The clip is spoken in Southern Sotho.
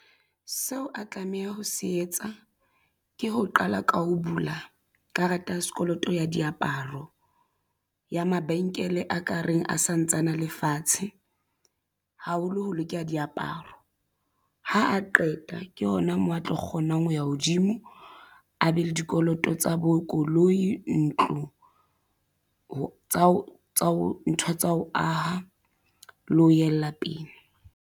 Seo a tlameha ho se etsa ke ho qala ka ho bula karata ya sekoloto ya diaparo ya mabenkele a ka reng a santsana a lefatshe haholo ho loke diaparo ha a qeta ke hona moo a tlo kgonang ho ya hodimo a be le dikoloto tsa bo koloi ntlo ho tswa ho tswa ho ntho tsa ho aha le ho yella pele.